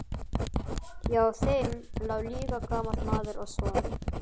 Hjá þeim lá líka gamall maður og svaf.